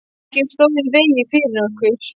Ekkert stóð í vegi fyrir okkur.